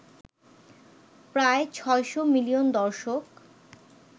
প্রায় ৬০০ মিলিয়ন দর্শক